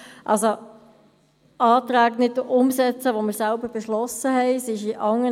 Also, Anträge, die wir selber beschossen haben, gilt es nicht umzusetzen.